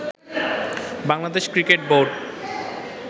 Bangladesh cricket board